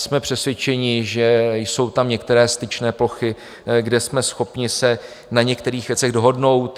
Jsme přesvědčeni, že jsou tam některé styčné plochy, kde jsme schopni se na některých věcech dohodnout.